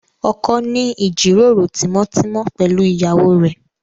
Ọkọ ń ní ìjíròrò tímọ́tímọ́ pẹ̀lú ìyàwó rẹ̀